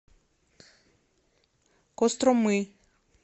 костромы